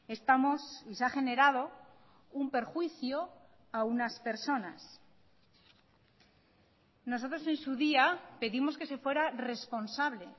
estamos y se ha generado un perjuicio a unas personas nosotros en su día pedimos que se fuera responsable